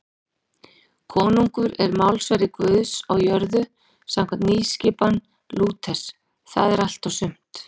Konungur er málsvari Guðs á jörðu samkvæmt nýskipan Lúters, það er allt og sumt.